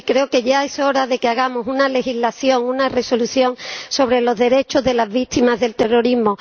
Sí, creo que ya es hora de que hagamos una legislación, una resolución sobre los derechos de las víctimas del terrorismo.